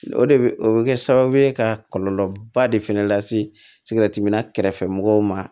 O de bɛ o bɛ kɛ sababu ye ka kɔlɔlɔba de fɛnɛ lase sigɛrɛtiminna kɛrɛfɛ mɔgɔw ma